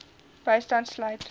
bystand sluit